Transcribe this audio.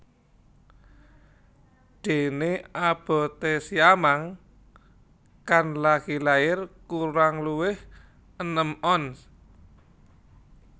Déné aboté siamang kang lagi lair kurang luwih enem ons